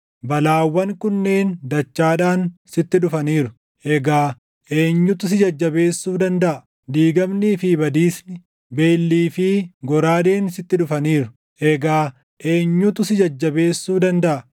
Balaawwan kunneen dachaadhaan sitti dhufaniiru; egaa eenyutu si jajjabeessuu dandaʼa? Diigamnii fi badiisni, beellii fi goraadeen sitti dhufaniiru; eegaa eenyutu si jajjabeessuu dandaʼa?